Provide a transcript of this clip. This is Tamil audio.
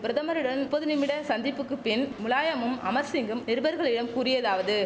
பிரதமருடன் நுப்பது நிமிட சந்திப்புக்கு பின் முலாயமும் அமர்சிங்கும் நிருபர்களிடம் கூறியதாவது